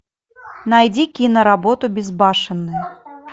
найди киноработу безбашенные